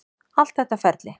Allt þetta ferli.